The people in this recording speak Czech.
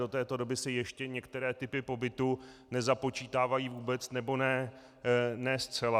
Do této doby se ještě některé typy pobytu nezapočítávají vůbec, nebo ne zcela.